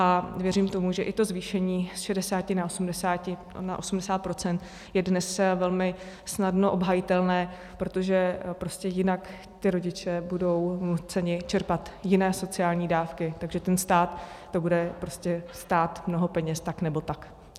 A věřím tomu, že i to zvýšení z 60 na 80 % je dnes velmi snadno obhajitelné, protože jinak ty rodiče budou nuceni čerpat jiné sociální dávky, takže ten stát to bude stát mnoho peněz tak nebo tak.